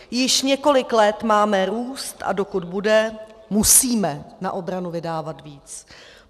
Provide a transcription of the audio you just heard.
Již několik let máme růst, a dokud bude, musíme na obranu vydávat víc.